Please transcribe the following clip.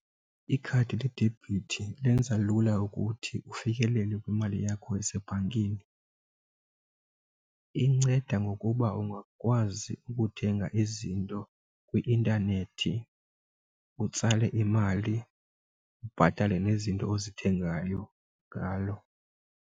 Ikhadi ledebhithi lenza lula ukuthi ufikelele kwimali yakho esebhankini. Inceda ngokuba ungakwazi ukuthenga izinto kwi-intanethi utsale imali ubhatale nezinto ozithengayo ngalo.